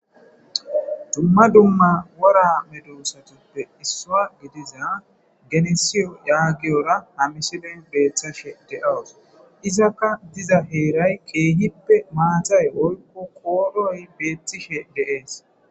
Dumma dumma wora medo usatuppe issoa gidiza genesiyo yaagiyora hamisiben beeththashe de'owos izakka diza heeray qeehippe maathay oykko kooroy beettishe deees.